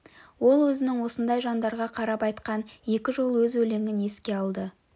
ол өзінің осындай жандарға қарап айтқан екі жол өз өлеңін еске алды